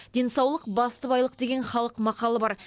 денсаулық басты байлық деген халық мақалы бар